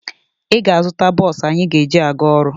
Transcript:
Ị ga-azụta bọọsụ anyị ga-eji aga ọrụ.